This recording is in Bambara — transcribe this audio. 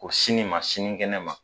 O sini ma sini kɛnɛ ma